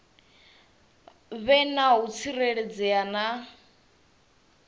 vhe na u tsireledzea na